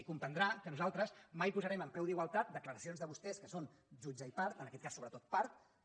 i comprendrà que nosaltres mai posarem en peu d’igualtat declaracions de vostès que són jutge i part en aquest cas sobretot part que